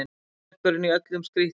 Höfuðverkurinn í öllum skrítlum.